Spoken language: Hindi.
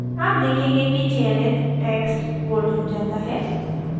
आप देखेंगे कि चयनित text bold हो जाता है